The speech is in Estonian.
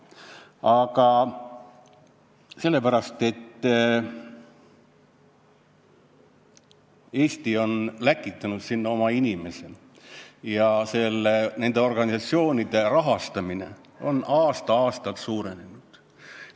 Aga sellepärast, et Eesti on läkitanud sinna oma inimese ja nende organisatsioonide rahastamine on aasta-aastalt suurenenud.